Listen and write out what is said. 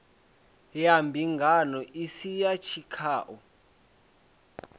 ya mbingano isi ya tshikhau